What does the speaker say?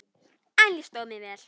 En ég stóð mig vel.